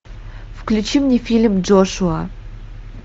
включи мне фильм джошуа